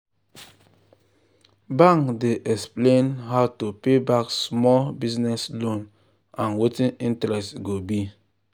bank dey explain how to pay back small business loan and wetin interest go be.